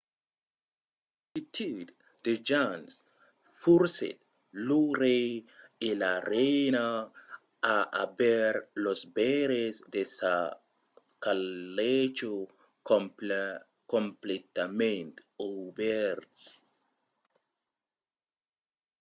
la multitud de gents forcèt lo rei e la reina a aver los veires de sa calècha completament obèrts